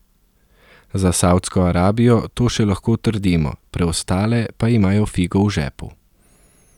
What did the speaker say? Za Savdsko Arabijo to še lahko trdimo, preostale pa imajo figo v žepu.